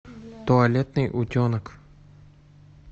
туалетный утенок